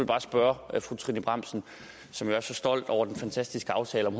bare spørge fru trine bramsen som jo er så stolt over den fantastiske aftale om